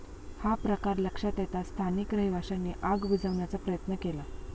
हा प्रकार लक्षात येताच स्थानिक रहिवाशांनी आग विझवण्याचा प्रयत्न केला.